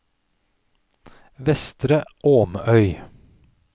Vestre Åmøy